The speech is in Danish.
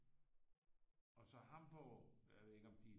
Og så Hamborg jeg ved ikke om de